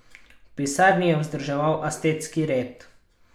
V pisarni je vzdrževal asketski red.